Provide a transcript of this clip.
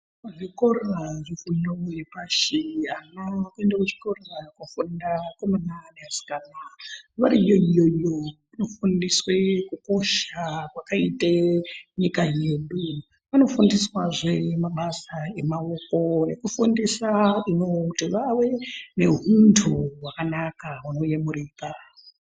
Zvikora zvefundo yepashi ana akuenda kuchikora kofunda akomana neasikana. Variyo iyoyo vanofundiswe kukosha kwakaite nyika yedu. Vanofundiswazve mabasa emaoko ekufundisa ino kuti vave neuntu hwakanaka unoyemurika.